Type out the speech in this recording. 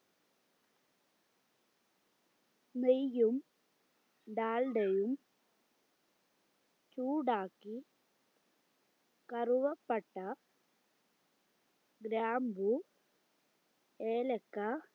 നെയ്യും ഡാൽഡയും ചൂടാക്കി കറുവപ്പട്ട ഗ്രാമ്പു ഏലക്ക